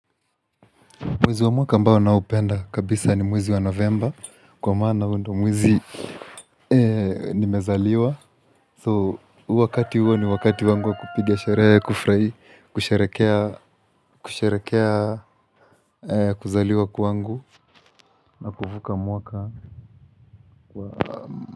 Mwezi wa mwaka ambao naopenda kabisa ni mwizi wa november kwa mana huo ndio mwezi nimezaliwa. So wakati huo ni wakati wangu wa kupiga sherehe kufurai, kusherekea kuzaliwa kwangu na kuvuka mwaka.